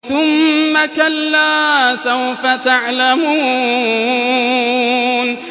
ثُمَّ كَلَّا سَوْفَ تَعْلَمُونَ